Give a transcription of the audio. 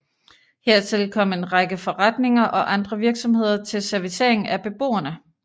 Hertil kom en række forretninger og andre virksomheder til servicering af beboerne